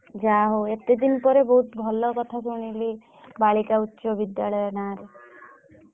ଯାହା ହଉ ଏତେ ଦିନ ପରେ ବହୁତ ଭଲ କଥା ଶୁଣିଲି ବାଳିକା ଉଚ୍ଚ ବିଦ୍ୟାଳୟ ନା ରେ